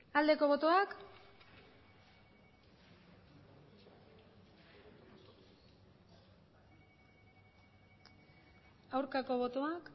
aldeko botoak aurkako botoak